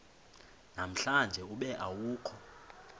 namhlanje ube awukho